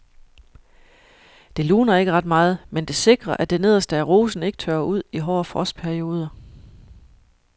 Det luner ikke ret meget, men det sikrer at det nederste af rosen ikke tørrer ud i hårde frostperioder.